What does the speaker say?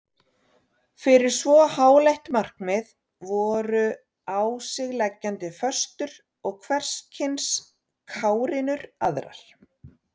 Fyrir svo háleitt markmið voru á sig leggjandi föstur og hverskyns kárínur aðrar.